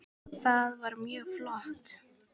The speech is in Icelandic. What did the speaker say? Það var mjög flott.